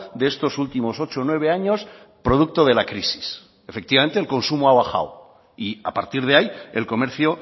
de estos últimos ocho nueve años producto de la crisis efectivamente el consumo ha bajado y a partir de ahí el comercio